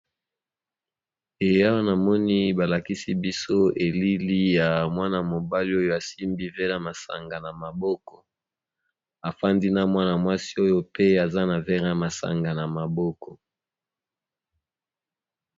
Eee awa namoni balakisibiso elili ya mwana mobali oyo asimbi verre yamasanga na maboko afandi na mwana mwasi oyo pe aza na verre yamasanga na maboko